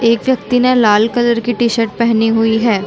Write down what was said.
एक व्यक्ति ने लाल कलर की टी-शर्ट पहनी हुई हैं ।